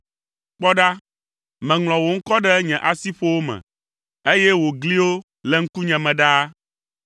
Kpɔ ɖa, meŋlɔ wò ŋkɔ ɖe nye asiƒowo me, eye wò gliwo le ŋkunye me ɖaa.